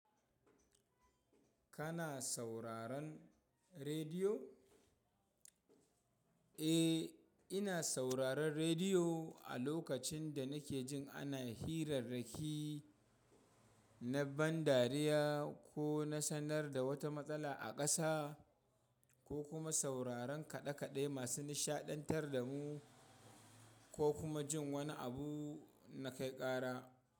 Kana sauraron rediyo? Eh, ina sauraron rediyo a lokacin da nake jin ana hirarrakin na ban dariya ko na sanar da wata matsala a ƙasa ko kuma sauraron kaɗe-kaɗe masu nishaɗantar da mu ko kuma jin wani abu na kai ƙara.